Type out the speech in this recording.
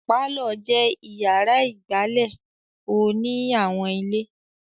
Pálọ̀ jẹ́ ìyàrá ìgbàlè ò ní àwọn ilé.